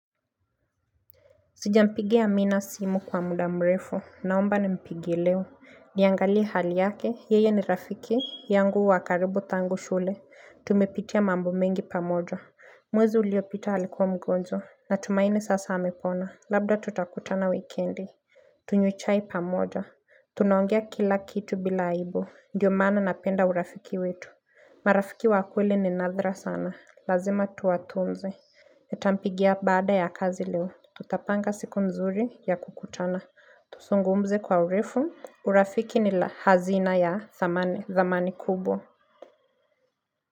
Sijampigia Amina simu kwa muda mrefu naomba nimpigie leo niangalie hali yake yeye ni rafiki yangu wa karibu tangu shule tumepitia mambo mengi pamoja mwezi uliopita alikuwa mgonjwa na tumaini sasa amepona labda tutakutana wikendi Tunywe chai pamoja tunaongea kila kitu bila aibu ndiyo maana napenda urafiki wetu marafiki wa kweli ni nadra sana lazima tuwatunze Nitampigia baada ya kazi leo. Tutapanga siku nzuri ya kukutana. Tuzungumze kwa urefu. Urafiki ni la hazina ya dhamani kubwa.